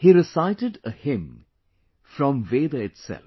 He recited a hymn from Veda itself